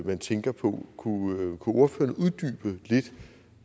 man tænker på kunne ordføreren uddybe lidt